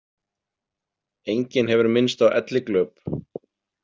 Enginn hefur minnst á elliglöp.